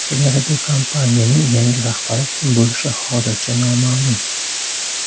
Teleradiokompaniyaning yangi rahbari kim bo‘lishi hozircha noma’lum.